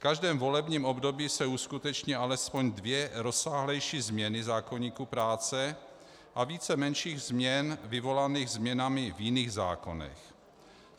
V každém volebním období se uskuteční alespoň dvě rozsáhlejší změny zákoníku práce a více menších změn vyvolaných změnami v jiných zákonech.